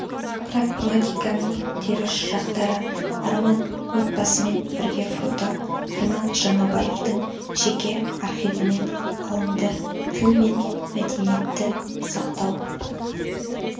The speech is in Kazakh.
прагматиканың теріс жақтары арман отбасымен бірге фото арман жаңабаевтың жеке архивінен алынды тіл мен мәдениетті сақтау